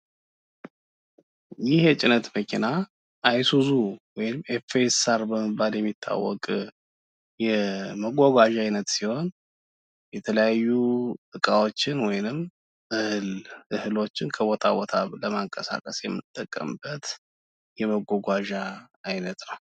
ይህ የጭነት መኪና አይሱዙ ወይም ኤፋኤስኣር በመባል የሚታወቅ የመጓጓዣ አይነት ሲሆን፤ የተለያዩ እቃዎችን ወይንም እህሎችን ከቦታ ቦታ ለማንቀሳቀስ የምንጠቀምበት የመጓጓዣ አይነት ነው።